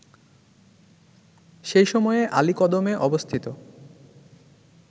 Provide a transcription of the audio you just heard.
সেই সময়ে আলীকদমে অবস্থিত